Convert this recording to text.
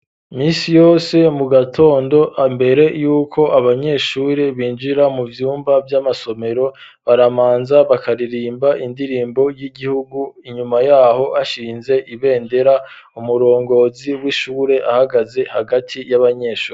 Imisi yose mu gatondo mbere yuko abanyeshure binjira mu vyumba vy'amasomero, baramanza bakaririmba indirimbo y'igihugu, inyuma yaho ashinze ibendera, umurongozi w'ishure ahagaze hagati y'abanyeshuri.